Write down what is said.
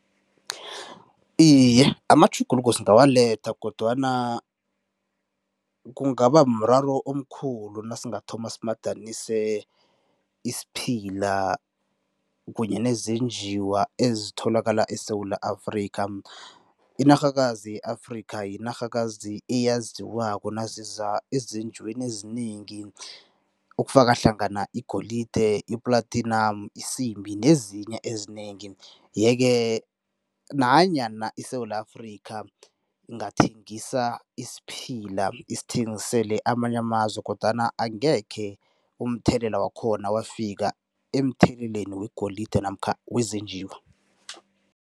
Iye, amatjhuguluko singawaletha kodwana kungaba mraro omkhulu nasingathoma simadanise isiphila kunye nezenjiwa ezitholakala eSewula Afrika. Inarhakazi ye-Afrika yinarhakazi eyaziwako naziza ezinjiweni ezinengi, okufaka hlangana igolide, i-platinum, isimbi nezinye ezinengi, yeke nanyana iSewula Afrika ingathengisa isiphila, isithengisele amanye amazwe kodwana angekhe umthelela wakhona wafika emtheleleni wegolide namkha wezenjiwa.